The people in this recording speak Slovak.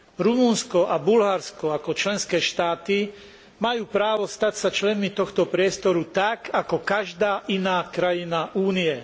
Rumunsko a Bulharsko, ako členské štáty, majú právo stať sa členmi tohto priestoru tak, ako každá iná krajina Únie.